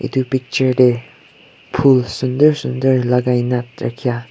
edu picture de phool sundur sundur lagai na thakia--